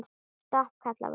Stopp, kallaði Vala.